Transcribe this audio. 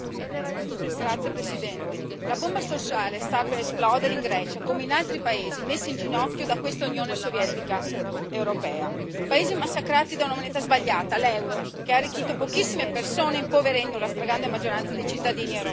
Signor Presidente, onorevoli colleghi, la bomba sociale sta per esplodere in Grecia come in altri paesi messi in ginocchio da questa Unione sovietica europea. Paesi massacrati da una moneta sbagliata, l'euro, che ha arricchito pochissime persone, impoverendo la stragrande maggioranza dei cittadini europei.